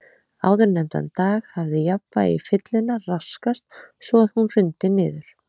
Áðurnefndan dag hafði jafnvægi fyllunnar raskast svo að hún hrundi niður.